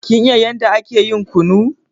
Kin iya yanda ake yin kunu?